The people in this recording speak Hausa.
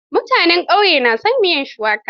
Mutanen ƙauye na son miyar shuwaka.